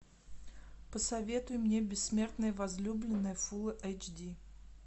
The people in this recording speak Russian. посоветуй мне бессмертная возлюбленная фулл эйч ди